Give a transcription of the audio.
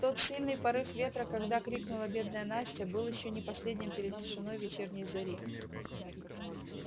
тот сильный порыв ветра когда крикнула бедная настя был ещё не последним перед тишиной вечерней зари